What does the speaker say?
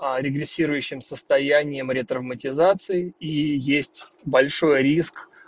регресирующим состоянием ретравматизации и есть большой риск